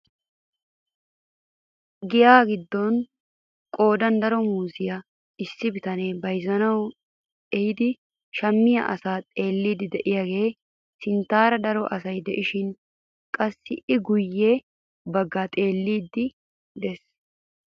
Giyaa giddon qoodan daro muuziyaa issi bitanee bayzzanawu eehiidi shammiyaa asaa xeelliidi de'iyaagee sinttaara daro asay de'esishin qassi i guye baggi xeelliidi de'ees.